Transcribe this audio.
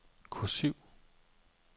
kursiv